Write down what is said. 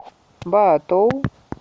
баотоу